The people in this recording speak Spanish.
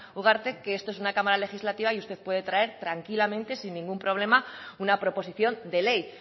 ugarte que esto es una cámara legislativa y usted puede traer tranquilamente sin ningún problema una proposición de ley